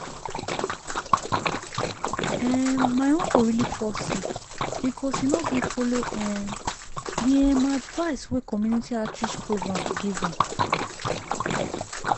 um my uncle really fall sick because he no gree follow um the um advice wey community outreach programs give am.